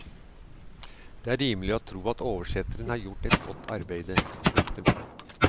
Det er rimelig å tro at oversetteren har gjort et godt arbeide. punktum